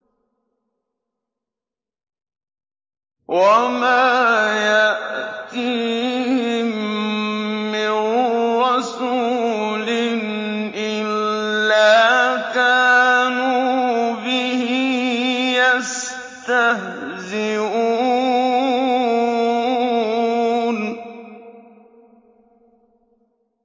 وَمَا يَأْتِيهِم مِّن رَّسُولٍ إِلَّا كَانُوا بِهِ يَسْتَهْزِئُونَ